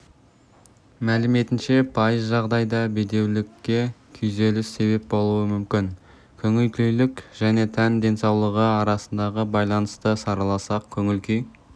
мәліметінше пайыз жағдайда бедеулікке күйзеліс себеп болуы мүмкін көңілкүйлік және тән денсаулығы арасындағы байланысты сараласақ көңіл-күй